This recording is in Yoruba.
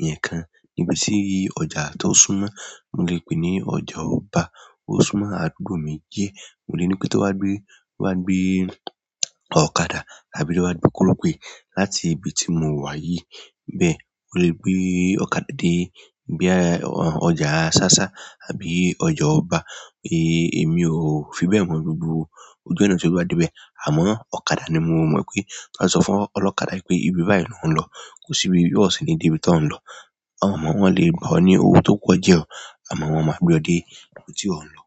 ẹnìkan níbi tí ọjà tó súmọ́, mò lè pè ní ọjà ọba, ó súmọ́ àdúgbò mi díẹ̀. Mo lè ní pé tó bá gbé, wà gbé ọ̀kadà àbí wà gbé kórópé láti ibi tí mò ń wà yìí bẹ́ẹ̀, o le gbé ọ̀kadà dé bí i ọjà sásá àbí ọjà ọba, èmi ò fi bẹ́ẹ̀ mọ̀ gbogbo ojú ọ̀nà tó bá dé bẹ́ẹ̀. Àmọ́ ọ̀kadà ni mò mọ̀ pé má sọ fún ọlọ́kadà pé ibi báyìí náà ń lọ, kò sí ibi bí ọ̀ṣìní dé bí i tó ń lọ. Àwọn ọmọ wọn lè gbọ́ ọ ní owó tó pọ̀ jẹ́ ọ àmọ́ wọ́n máa gbé ọ dé ibi tí ó ń lọ.